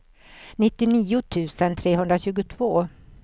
nittionio tusen trehundratjugotvå